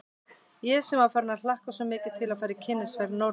Ég sem var farin að hlakka svo mikið til að fara í kynnisferð norður að